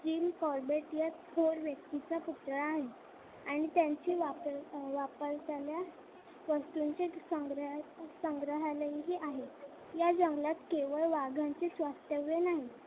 Thin corbett ला या थोर व्यक्तीचा पुतळा आहे. आणि त्यांचे वापरणाऱ्या वस्तूंचे संग्रहालयही आहे या जंगलात केवळ वाघांचेच वास्तव्य नाही.